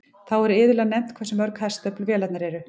Þá er iðulega nefnt hversu mörg hestöfl vélarnar eru.